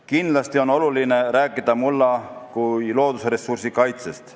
Kindlasti on oluline rääkida mulla kui just loodusressursi kaitsest.